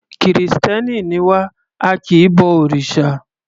Kìrìstẹ́ni ni wá, a kì í bo òrìsà.